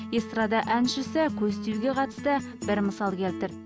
эстрада әншісі көз тиюге қатысты бір мысал келтірді